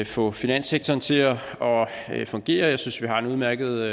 få finanssektoren til at fungere jeg synes vi har en udmærket